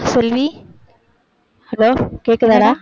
செல்வி hello கேக்குதாடா